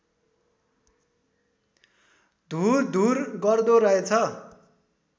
धुर्रधुर्र गर्दो रहेछ